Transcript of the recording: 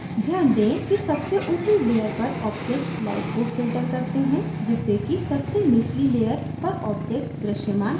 ध्यान दें कि सबसे ऊपरी layer पर objects light को filters करते हैं जिससे कि सबसे निचली layer पर objects दृश्यमान हो जाएँ